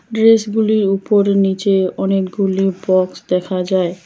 ড্রেসগুলির উপর নিচে অনেকগুলি বক্স দেখা যায়।